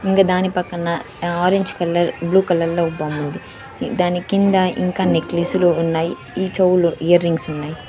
ఇంగ దాని పక్కన ఆ ఆరెంజ్ కలర్ బ్లూ కలర్లొ ఓ బొమ్ముంది దాని కింద ఇంకా నెక్లిసులు ఉన్నాయ్ ఈ చెవులు ఇయర్ రింగ్స్ ఉన్నయ్.